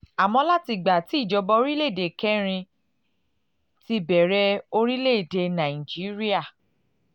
àmọ́ láti ìgbà tí ìjọba orílẹ̀ èdè kẹrin ti bẹ̀rẹ̀ orílẹ̀ èdè nàìjíríà